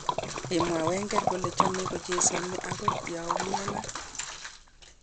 Komwa Wenger kole chame kochesani angot yaumianat